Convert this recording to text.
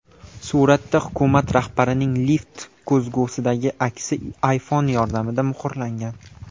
Suratda hukumat rahbarining lift ko‘zgusidagi aksi iPhone yordamida muhrlangan.